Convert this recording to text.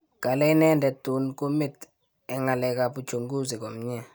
Kale inendet tun kumit eng ngalekap uchunguzi komnyee